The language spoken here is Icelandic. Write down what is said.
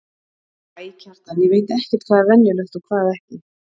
Æ, Kjartan, ég veit ekkert hvað er venjulegt og hvað ekki.